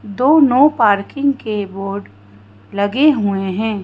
दो no parking के board लगे हुए हैं।